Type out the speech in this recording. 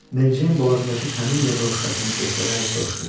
Mary Jane boğazındakı kameliya broşkasını göstərərək soruşdu.